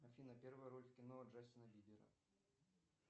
афина первая роль в кино джастина бибера